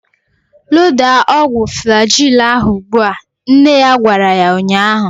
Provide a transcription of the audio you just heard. Loda ọgwụ Flajil ahu ụgbụa! Nne ya gwara ya ụnyaahụ